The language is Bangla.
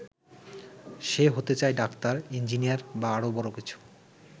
সে হতে চায় ডাক্তার, ইঞ্জিনিয়ার বা আরো বড় কিছু।